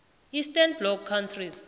eastern bloc countries